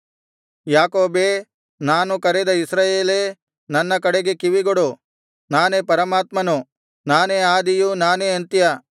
ಯಾಕೋಬೇ ನಾನು ಕರೆದ ಇಸ್ರಾಯೇಲೇ ನನ್ನ ಕಡೆಗೆ ಕಿವಿಗೊಡು ನಾನೇ ಪರಮಾತ್ಮನು ನಾನೇ ಆದಿಯೂ ನಾನೇ ಅಂತ್ಯ